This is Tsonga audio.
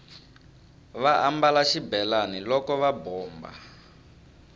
va ambala xibelani loko va bomba